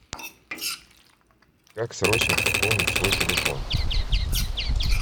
как срочно пополнить свой телефон